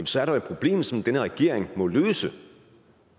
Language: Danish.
så er der et problem som denne regering må løse